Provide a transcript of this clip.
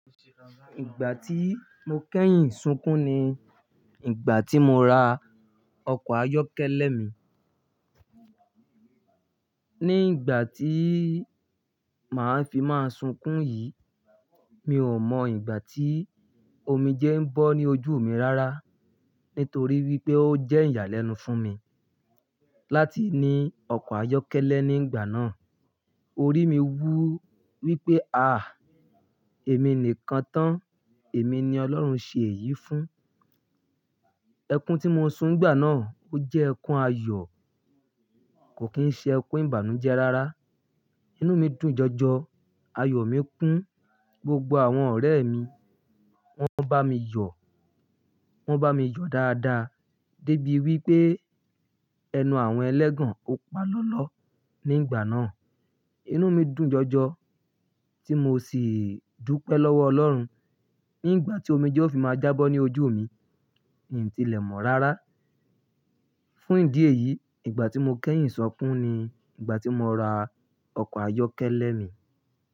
Ìgbà tí mo kẹ́yìn sunkún ni ìgbà tí mo ra ọkọ̀ ayọ́kẹ́lẹ́ mi. Ní ìgbà tí màá fi máa sunkún yìí, mi ò mọ ìgbà tí omi jẹ ń bọ́ ní ojú mi rárá, nítorí wípé ó jẹ́ ìyàlẹ́nu fún mi láti ní ọkọ̀ ayọ́kẹ́lẹ́ ní ìgbà náà. Orí mi wú wípé, à! Èmi nìkan tán, èmi ni Ọlọ́run ṣe èyí fún. Ẹkún tí mo sun gbà náà ó jẹ́ ẹkún ayọ̀, kò kín ṣe ẹkún ìbànújẹ́ rárá. Inú mi dùn jọjọ, ayọ̀ mi kún, gbogbo àwọn ọ̀rẹ́ mi, wọ́n bá mi yọ̀, wọ́n bá mi yọ̀ dáadáa, débi wípé ẹnu àwọn ẹlẹ́gàn ó pa lọ́lọ́ ní ìgbà náà. Inú mi dùn jọjọ, tí mo sì dúpẹ́ lọ́wọ́ Ọlọ́run. Ní ìgbà tí omi jẹ ó fi máa já bọ́ ní ojú mi, n ti lẹ̀ mọ̀ rárá. Fún ìdí èyí, ìgbà tí mo kẹ́yìn sunkún ni ìgbà tí mo ra ọkọ̀ ayọ́kẹ́lẹ́ mi.